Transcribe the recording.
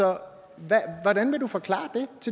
om